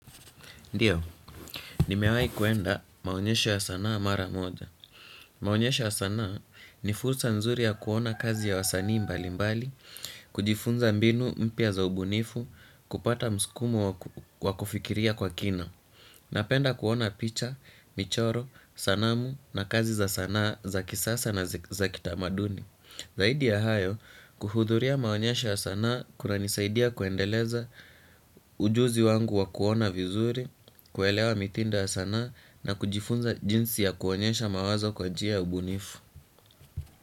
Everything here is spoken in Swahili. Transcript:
Ndiyo, nimewahi kuenda maonyesho ya sanaa mara moja. Maonyesho ya sanaa ni fursa nzuri ya kuona kazi ya wasanii mbali mbali, kujifunza mbinu mpya za ubunifu, kupata mskumo wa kufikiria kwa kina. Napenda kuona picha, michoro, sanamu na kazi za sanaa za kisasa na za kitamaduni. Zaidi ya hayo, kuhudhuria maonyesha ya sanaa kuranisaidia kuendeleza ujuzi wangu wa kuona vizuri, kuelewa mitindo ya sana na kujifunza jinsi ya kuonyesha mawazo kwa njia ya ubunifu.